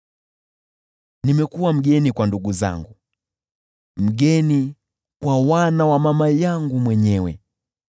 Nimekuwa mgeni kwa ndugu zangu, mgeni kwa wana wa mama yangu mwenyewe.